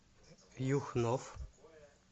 юхнов